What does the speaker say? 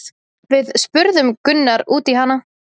Við spurðum Gunnar út í hana?